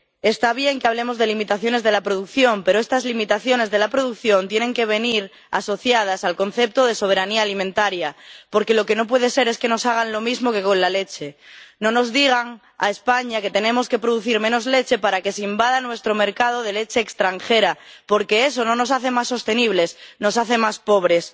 Está bien que hablemos de limitaciones de la producción, pero estas limitaciones de la producción tienen que venir asociadas al concepto de soberanía alimentaria, porque lo que no puede ser es que nos hagan lo mismo que con la leche no nos digan —a España— que tenemos que producir menos leche para que se invada nuestro mercado de leche extranjera, porque eso no nos hace más sostenibles, nos hace más pobres.